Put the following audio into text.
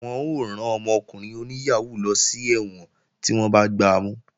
Wọ́n ó rán ọmọkùnrin oníyàhóó lọ sí ẹ̀wọ̀n tí wọ́n bá gbamú